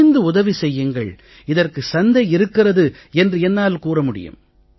துணிந்து உதவி செய்யுங்கள் இதற்கு சந்தை இருக்கிறது என்று என்னால் கூற முடியும்